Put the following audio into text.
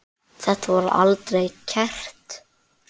Þetta var aldrei kært.